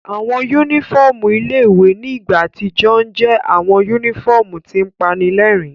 Awọn unifọmú ile-iwe ni igba atijọ ǹ jẹ awọn unifọmu tin panilẹrin